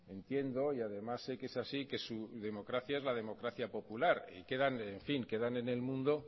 entiendo y además sé que es así que su democracia es la democracia popular que quedan en el mundo